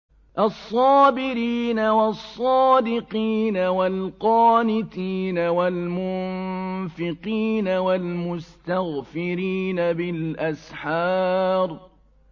الصَّابِرِينَ وَالصَّادِقِينَ وَالْقَانِتِينَ وَالْمُنفِقِينَ وَالْمُسْتَغْفِرِينَ بِالْأَسْحَارِ